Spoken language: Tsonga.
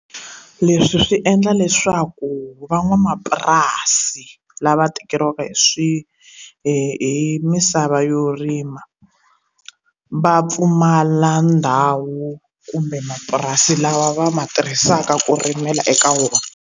Leswi swi endla leswaku van'wamapurasi lava tekeriwaka hi swi hi misava yo rima va pfumala ndhawu kumbe mapurasi lawa va ma tirhisaka ku rimela eka wona.